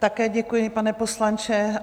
Také děkuji, pane poslanče.